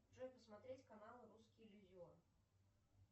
джой посмотреть канал русский иллюзион